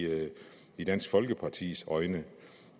i dansk folkepartis øjne